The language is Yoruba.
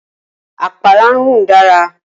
Apara n run dara.